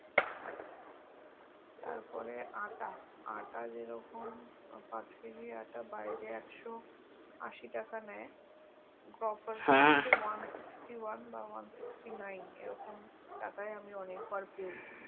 তার পরে আটা আটা যে রকম পাঁচ কেজি আটা বাইরে একশো আশি টাকা টাকা নেয় grofersone sixty one one sixty nine এরকম টাকায় আমি অনেক বার পেয়েছি